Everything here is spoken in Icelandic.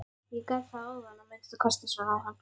Ég gat það áðan að minnsta kosti, svaraði hann.